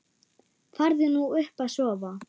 Farðu nú upp að sofa.